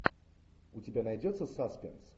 у тебя найдется саспенс